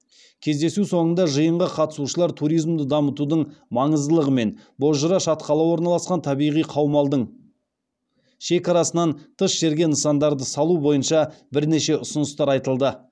кездесу соңында жиынға қатысушылар туризмді дамытудың маңыздылығы мен бозжыра шатқалы орналасқан табиғи қаумалдың шекарасынан тыс жерге нысандарды салу бойынша бірнеше ұсыныстар айтылды